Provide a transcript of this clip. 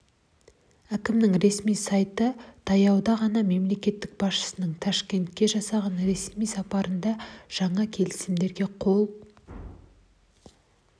әкімінің ресми сайты таяуда ғана мемлекет басшысының ташкентке жасаған ресми сапарында да жаңа келісімдерге қол